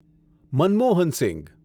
Manmohan Singh